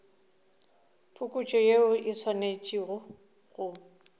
phokotšo yeo e swanetše go